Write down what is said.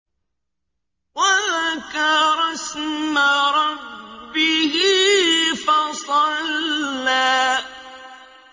وَذَكَرَ اسْمَ رَبِّهِ فَصَلَّىٰ